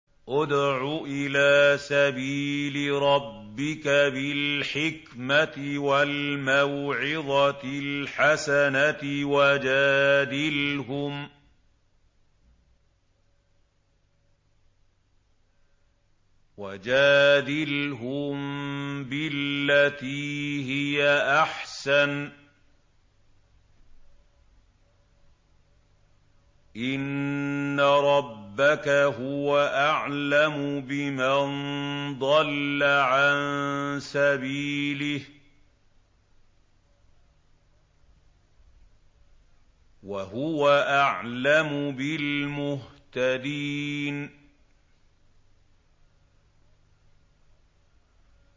ادْعُ إِلَىٰ سَبِيلِ رَبِّكَ بِالْحِكْمَةِ وَالْمَوْعِظَةِ الْحَسَنَةِ ۖ وَجَادِلْهُم بِالَّتِي هِيَ أَحْسَنُ ۚ إِنَّ رَبَّكَ هُوَ أَعْلَمُ بِمَن ضَلَّ عَن سَبِيلِهِ ۖ وَهُوَ أَعْلَمُ بِالْمُهْتَدِينَ